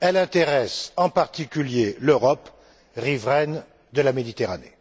elle intéresse en particulier l'Europe, riveraine de la Méditerranée.